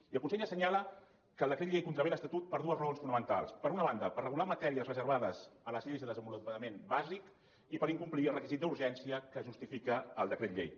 i el consell assenyala que el decret llei contravé l’estatut per dues raons fonamentals per una banda per regular matèries reservades a les lleis de desenvolupament bàsic i per incomplir el requisit d’urgència que justifica el decret llei